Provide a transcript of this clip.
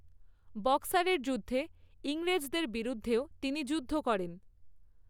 বক্সারের যুদ্ধে ইংরেজদের বিরুদ্ধেও তিনি যুদ্ধ করেন।